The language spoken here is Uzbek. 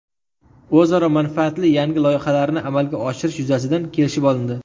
O‘zaro manfaatli yangi loyihalarni amalga oshirish yuzasidan kelishib olindi.